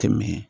Kɛmɛ